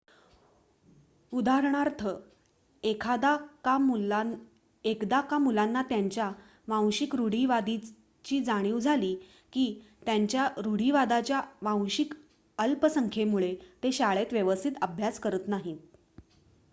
उदाहरणार्थ एकदा का मुलांना त्यांच्या वांशिक रूढीवादाची जाणीव झाली की त्यांच्या रूढीवादाच्या वांशिक अल्पसंखेमुळे ते शाळेत व्यवस्थित अभ्यास करत नाहीत